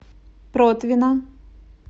протвино